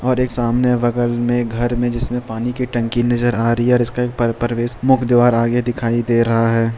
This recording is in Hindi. और एक सामने बगल में घर में जिसमें पानी की टंकी नजर आ रही है और इसका एक प्रवेश मुख्य द्वार आगे दिखाई दे रहा है।